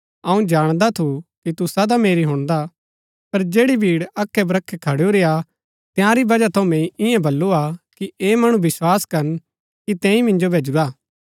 अऊँ जाणदा थू कि तू सदा मेरी हुणदा पर जैड़ी भीड़ अखै ब्रखै खडूरी हा तंयारी बजह थऊँ मैंई ईयां बल्लू हा कि ऐह मणु विस्वास करन कि तैंई मिन्जो भैजुरा हा